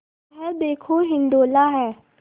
यह देखो हिंडोला है